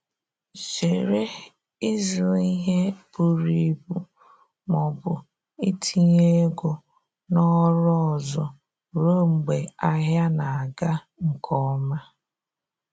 Zere ịzụ ihe buru ibu ma ọbụ itinye ego na oru ọzọ ruo mgbe ahịa na aga nke ọma